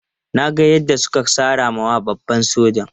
Na ga yadda suka sara wa babban sojan.